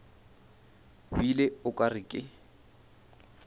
bile o ka re ke